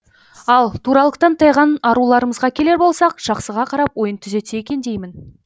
ал туралықтан тайған аруларымызға келер болсақ жақсыға қарап ойын түзетсе екен деймін